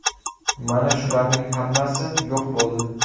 Mana shularning hammasi yo‘q bo‘ldi.